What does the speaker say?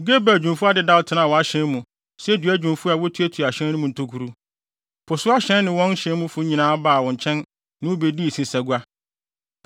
Gebal adwumfo adedaw tenaa wʼahyɛn mu sɛ dua dwumfo a wotuatua ahyɛn no mu ntokuru. Po so ahyɛn ne wɔn hyɛnmufo nyinaa baa wo nkyɛn ne wo bedii nsesagua.